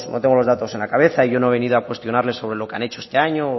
tengo los datos en la cabeza yo no he venido a cuestionarle sobre lo que han hecho este año o